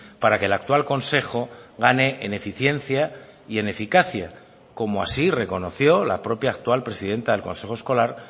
para que el actual consejo gane en eficiencia y en eficacia como así reconoció la propia actual presidenta del consejo escolar